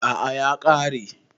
A'a ya kare